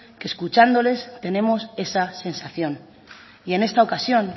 que escuchándoles tenemos esa sensación y en esta ocasión